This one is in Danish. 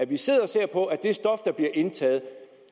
vi sidder og ser på at det stof der bliver indtaget